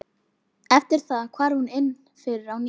Eftir það hvarf hún inn fyrir á ný.